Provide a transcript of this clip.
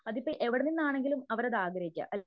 അതിപ്പോ എവിടെ നിന്നാണെങ്കിലും അവര് അത് ആഗ്രഹിക്യ